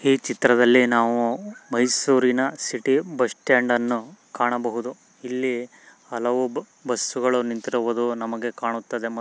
ಈ ಚಿತ್ರದಲ್ಲಿ ನಾವು ಮೈಸೂರಿನ ಸಿಟಿ ಬಸ್ಟ್ಯಾಂಡನ್ನು ಕಾಣಬಹುದು. ಇಲ್ಲಿ ಹಲವು ಬಸ್ಸು ಗಳು ನಿಂತಿರುವುದು ನಮಗೆ ಕಾಣುತ್ತದೆ.